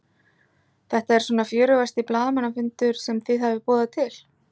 Þetta er svona fjörugasti blaðamannafundur sem þið hafið boðað til?